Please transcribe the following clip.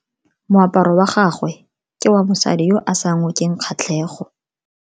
Moaparo wa gagwe ke wa mosadi yo o sa ngokeng kgatlhego.